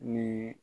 Ni